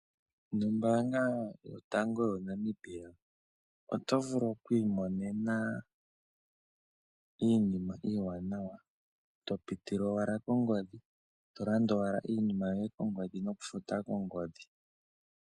Nombanga yotango yoNamibia oto vulu okwi imonena iinima iwanawa to piti owala kongodhi. To landa owala iinima yoye kongodhi noku futa .